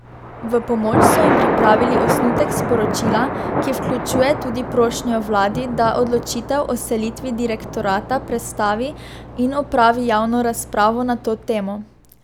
V pomoč so jim pripravili osnutek sporočila, ki vključuje tudi prošnjo vladi, da odločitev o selitvi direktorata prestavi in opravi javno razpravo na to temo.